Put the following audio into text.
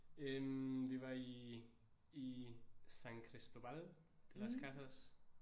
Øh vi var i i San Cristóbal de las Casas